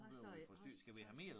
Hvad så ja også så